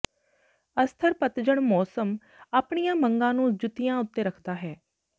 ਅਸਥਿਰ ਪਤਝੜ ਮੌਸਮ ਆਪਣੀਆਂ ਮੰਗਾਂ ਨੂੰ ਜੁੱਤੀਆਂ ਉੱਤੇ ਰੱਖਦਾ ਹੈ